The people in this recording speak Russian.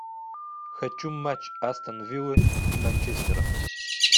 хочу матч астон виллы и манчестера